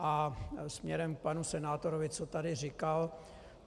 A směrem k panu senátorovi, co tady říkal.